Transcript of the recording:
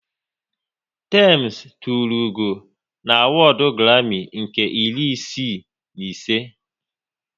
Tems tụrụ ugo n'awodu Grami nke iri isii na ise